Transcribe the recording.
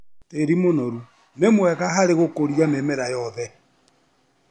Tĩri mũnoru ni mwega harĩ gũkũria mĩmera yothe.